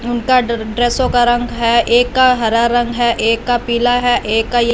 उनका ड्रे ड्रेसों का रंग है एक का हरा रंग है एक का पीला है एक का ये --